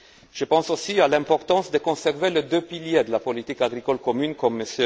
Je pense aussi à l'importance de conserver les deux piliers de la politique agricole commune, comme M.